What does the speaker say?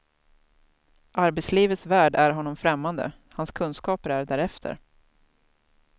Arbetslivets värld är honom främmande, hans kunskaper är därefter.